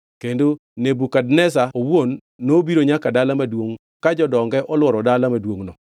kendo Nebukadneza owuon nobiro nyaka dala maduongʼ ka jodonge olworo dala maduongʼno.